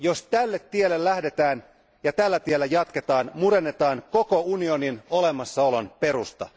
Jos tälle tielle lähdetään ja tällä tiellä jatketaan, murennetaan koko unionin olemassaolon perusta.